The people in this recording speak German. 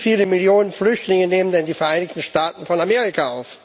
Wie viele Millionen Flüchtlinge nehmen denn die Vereinigten Staaten von Amerika auf?